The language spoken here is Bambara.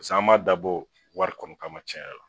pase an m'a dabɔ wari kɔni kama cɛn yɛrɛla